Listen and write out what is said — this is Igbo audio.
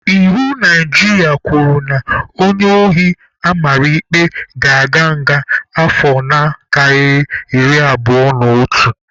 Iwu Naijiria kwuru na onye ohi amara ikpe ga-aga nga afọ na-akarịghị iri abụo n'otu.